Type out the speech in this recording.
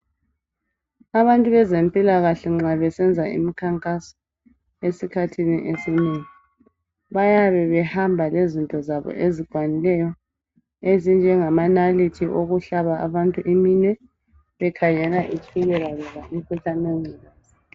abantu bezempilakahle nxa besenza imikhankaso esikhathini esinengi bayabe behamba lezinto zabo ezikwanileyo ezinjengama nalithi okuhlaba abantu iminwe bekhangela itshukela loba umkhuhlane wenculuza